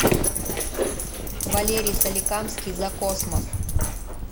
валерий соликамский за космос